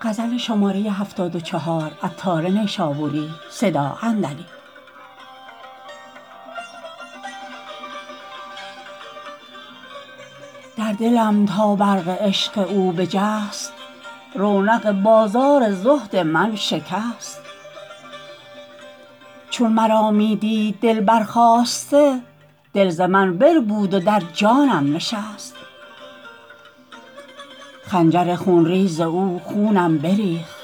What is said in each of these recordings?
در دلم تا برق عشق او بجست رونق بازار زهد من شکست چون مرا می دید دل برخاسته دل ز من بربود و درجانم نشست خنجر خون ریز او خونم بریخت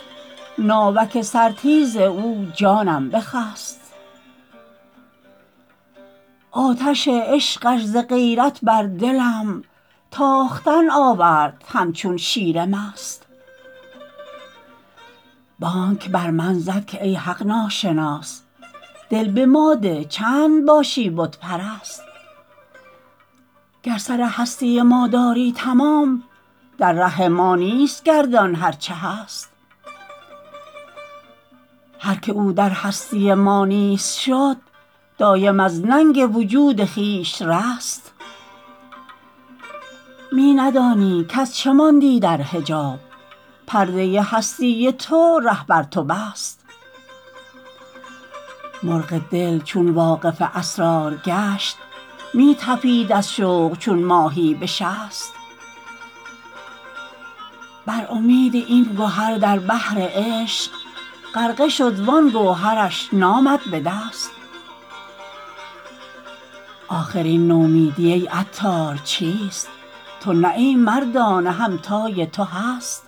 ناوک سر تیز او جانم بخست آتش عشقش ز غیرت بر دلم تاختن آورد همچون شیر مست بانگ بر من زد که ای ناحق شناس دل به ما ده چند باشی بت پرست گر سر هستی ما داری تمام در ره ما نیست گردان هرچه هست هر که او در هستی ما نیست شد دایم از ننگ وجود خویش رست می ندانی کز چه ماندی در حجاب پرده هستی تو ره بر تو بست مرغ دل چون واقف اسرار گشت می طپید از شوق چون ماهی بشست بر امید این گهر در بحر عشق غرقه شد وان گوهرش نامد به دست آخر این نومیدی ای عطار چیست تو نه ای مردانه همتای تو هست